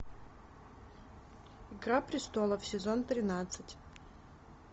игра престолов сезон тринадцать